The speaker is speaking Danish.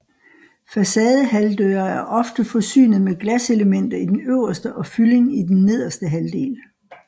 Facadehalvdøre er ofte forsynet med glaselemter i den øverste og fyldning i den nederste halvdel